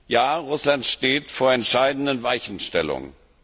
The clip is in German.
Ja, Russland steht vor entscheidenden Weichenstellungen.